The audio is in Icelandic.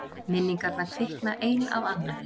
Minningarnar kvikna ein af annarri.